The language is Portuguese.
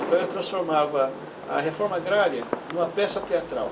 Então eu transformava a reforma agrária em uma peça teatral.